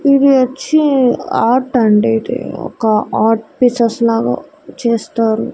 ఇది వచ్చి ఆర్ట్ అండి ఇది ఒక ఆర్ట్ పీసెస్ లాగ చేస్తారు.